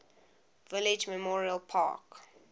village memorial park